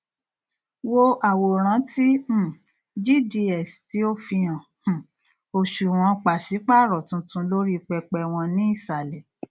olókìkí náà ti kúrò ní orí ayélujára fún ọpọlọpọ ọsẹ nítorí àwọn ìdí ti ara ẹni